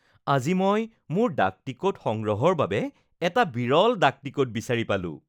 আজি মই মোৰ ডাকটিকট সংগ্ৰহৰ বাবে এটা বিৰল ডাকটিকট বিচাৰি পালোঁ